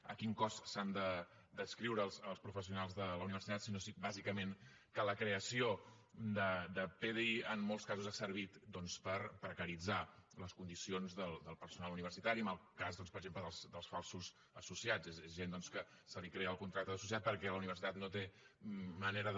a quin cos s’han d’adscriure els professionals de la universitat sinó bàsicament que la creació de pdi en molts casos ha servit per precaritzar les condicions del personal universitari en el cas doncs per exemple dels falsos associats és gent doncs que se li crea el contracte d’associat perquè la universitat no té manera de